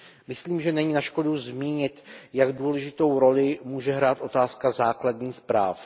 Myslím, že není na škodu zmínit, jak důležitou roli může hrát otázka základních práv.